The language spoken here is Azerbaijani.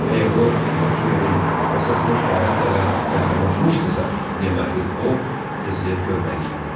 Əgər o Maxvelin masasına kifayət qədər yaxınlaşmışdısa, deməli o qızı görməli idi.